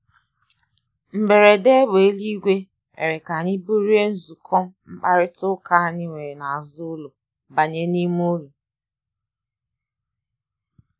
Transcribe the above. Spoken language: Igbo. Mgberede égbé éluigwe mere anyị bulie nzukọ mkpakarita ụka anyị were n' azụ ụlọ banye n' ime ụlo.